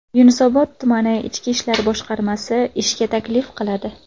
Yunusobod tumani Ichki ishlar boshqarmasi ishga taklif qiladi.